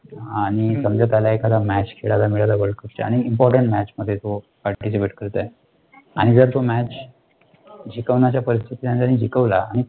आणि समजा त्याला एखादा match खेळायला मिळाला WORLDCUP चा आणि तो एक Important match मध्ये तो participate करत आहे, आणि जर तो MATCH जितवण्याच्या परिस्थितीत आहे आणि त्याने तो जीतवला,